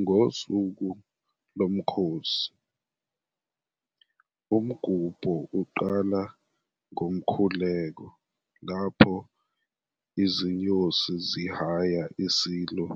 Ngosuku lomkhosi, umgubho uqala ngomkhuleko lapho izinyosi zihaya iSilo